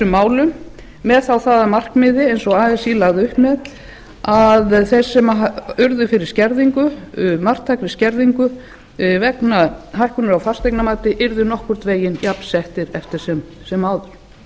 málum með þá það að markmiði eins og así lagði upp með að þeir sem urðu fyrir marktækri skerðingu vegna hækkunar á fasteignamati yrðu nokkurn veginn jafnsettir eftir sem áður að ekki